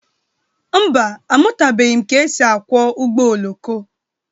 Mba, amụtabeghi m ka e si akwọ ụgbọ oloko.